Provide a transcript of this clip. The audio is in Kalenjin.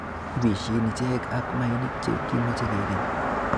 Ibeshen ichek ak mainik che kimoche kikeny.